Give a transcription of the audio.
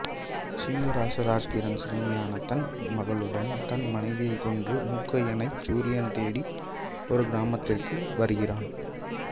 சிங்கராசு ராஜ்கிரண் சிறுமியான தன் மகளுடன் தன் மனைவியைக் கொன்ற மூக்கையனைத் சூரியன் தேடி ஒரு கிராமத்திற்கு வருகிறான்